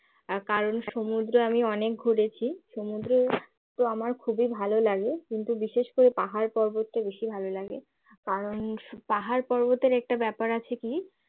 কারন সমুদ্র আমি অনেক ঘুরেছি সমুদ্রে তো আমার খুবই ভালো লাগে কিন্তু বিশেষ করে পাহাড় পর্বতটা বেশি ভালো লাগে কারণ পাহাড়-পর্বতের একটা ব্যাপার আছে কি